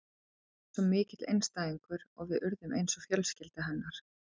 Hún var svo mikill einstæðingur og við urðum eins og fjölskylda hennar.